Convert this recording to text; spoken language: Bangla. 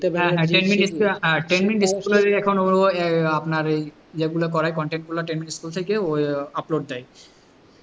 ও আপনার ওই এগুলো করায় content গুলো থেকে upload দেয়,